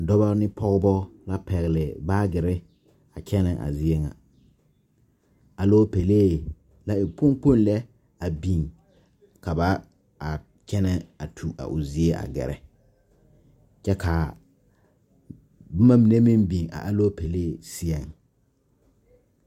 Dɔbɔ ne pɔɔbɔ la pɛgle baagyirre a kyɛnɛ a zie ŋa aloopɛlee la e kpoŋ kpoŋ lɛ a biŋ ka ba a kyɛnɛ a tu a o zie gɛrɛ kyɛ kaa bomma mine meŋ biŋ a aloopɛlee seɛŋ.